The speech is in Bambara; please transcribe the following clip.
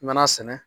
I mana sɛnɛ